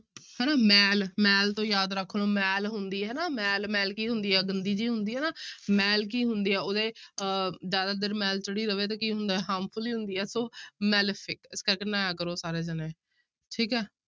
ਹਨਾ ਮੈਲ ਮੈਲ ਤੋਂ ਯਾਦ ਰੱਖ ਲਓ ਮੈਲ ਹੁੰਦੀ ਹੈ ਨਾ ਮੈਲ, ਮੈਲ ਕੀ ਹੁੰਦੀ ਹੈ ਗੰਦੀ ਜਿਹੀ ਹੁੰਦੀ ਹੈ ਨਾ ਮੈਲ ਕੀ ਹੁੰਦੀ ਹੈ ਉਹਦੇ ਅਹ ਜ਼ਿਆਦਾ ਦੇਰ ਮੈਲ ਚੜੀ ਰਵੇ ਤੇ ਕੀ ਹੁੰਦਾ ਹੈ harmful ਹੀ ਹੁੰਦੀ ਹੈ ਸੋ malefic ਠੀਕ ਹੈ ਨਹਾਇਆ ਕਰੋ ਸਾਰੇ ਜਾਣੇ, ਠੀਕ ਹੈ।